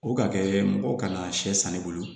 O ka kɛ mɔgɔ kana sɛ wolo